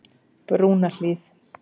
Brúnahlíð